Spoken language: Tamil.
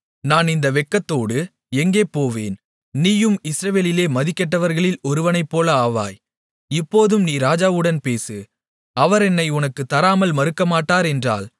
நான் இந்த வெட்கத்தோடு எங்கே போவேன் நீயும் இஸ்ரவேலிலே மதிகெட்டவர்களில் ஒருவனைப்போல ஆவாய் இப்போதும் நீ ராஜாவுடன் பேசு அவர் என்னை உனக்குத் தராமல் மறுக்கமாட்டார் என்றாள்